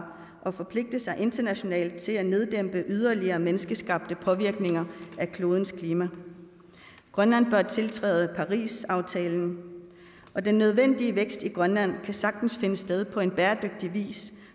og forpligte sig internationalt til at neddæmpe yderligere menneskeskabte påvirkninger af klodens klima grønland bør tiltræde parisaftalen og den nødvendige vækst i grønland kan sagtens finde sted på en bæredygtig